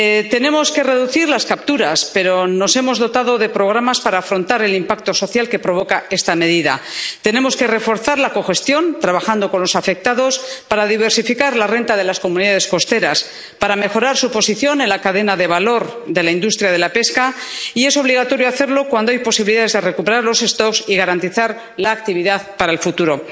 Tenemos que reducir las capturas, pero nos hemos dotado de programas para afrontar el impacto social que provoca esta medida. Tenemos que reforzar la cogestión trabajando con los afectados para diversificar la renta de las comunidades costeras, para mejorar su posición en la cadena de valor de la industria de la pesca y es obligatorio hacerlo cuando hay posibilidades de recuperar las poblaciones y garantizar la actividad para el futuro.